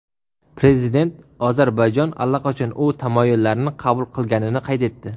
Prezident Ozarbayjon allaqachon u tamoyillarni qabul qilganini qayd etdi.